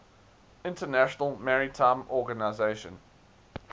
international maritime organization